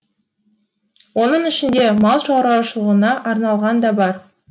оның ішінде мал шаруашылығына арналған да бар